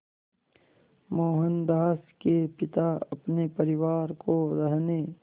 मोहनदास के पिता अपने परिवार को रहने